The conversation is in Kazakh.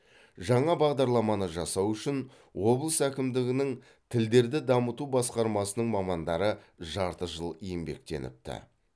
жаңа бағадарламаны жасау үшін облыс әкімдігінің тілдерді дамыту басқармасының мамандары жарты жыл еңбектеніпті